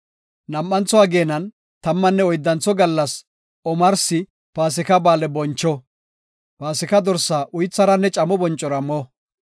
Nam7antho ageenan tammanne oyddantho gallas omarsi Paasika Ba7aale boncho. Paasika dorsa uytharanne camo boncora mo.